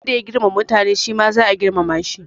Wanda ya girmama mutane shi ma za a girmama shi